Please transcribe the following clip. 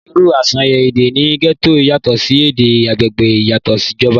irú àsàyàn èdè ní gẹ́tò yàtọ̀ sí èdè agbègbè ìyàsọ́tọ̀ ìjọba